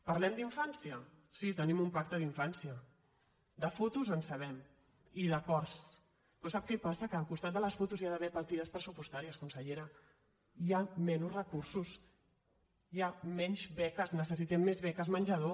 parlem d’infància sí tenim un pacte d’infància de fotos en sabem i d’acords però sap què passa que al costat de les fotos hi ha d’haver partides pressupostàries consellera hi ha menys recursos hi ha menys beques necessitem més beques menjador